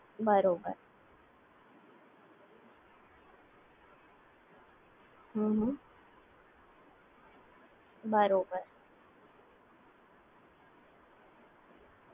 બરોબર